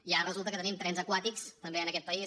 i ara resulta que tenim també trens aquàtics també en aquest país